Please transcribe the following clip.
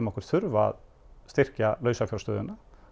okkur þurfa að styrkja lausafjárstöðuna